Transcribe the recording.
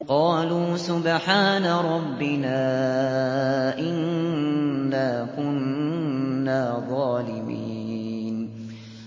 قَالُوا سُبْحَانَ رَبِّنَا إِنَّا كُنَّا ظَالِمِينَ